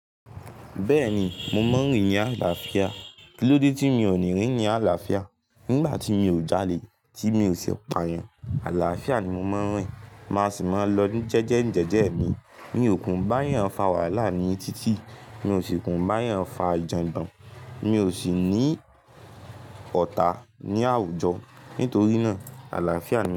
Bẹ́ẹ̀ni, mo mọ̀ rin ni àlàáfíà. Kí ló dé tí mi ò ní rí ni àlàáfíà? Nígbà tí mi ò jalè, tí mi ò ṣe pà eyàn, àlàáfíà ni mo máa ń rìn. Má sì máa ń lọ jẹ́jẹ́ ń jẹ́jẹ́ mi. Mi ò ku báyen fà wàhálà ní títì, mi ò sì ku báyen fà ijogbon, mi ò sì ní ọ̀tá ní àwùjọ. Nítorí náà àlàáfíà ni mi.